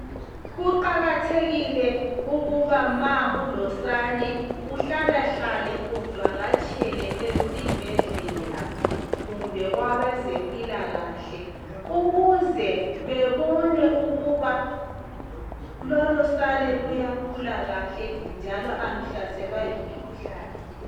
Kuqakathekile ukuba ma ulosane uhlale hlale uvakatshele esibhedlela kumbe kwabezempilakahle, ukuze bebone ukuba lolo sane luyakhula kahle njalo aluhlaselwa yimikhuhlane.